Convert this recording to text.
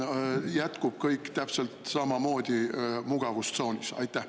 Või jätkub kõik täpselt samamoodi mugavustsoonis?